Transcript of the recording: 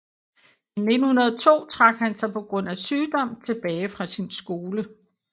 I 1902 trak han sig på grund af sygdom tilbage fra sin skole